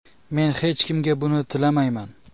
Men hech kimga buni tilamayman.